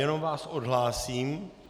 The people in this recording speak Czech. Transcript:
Jenom vás odhlásím.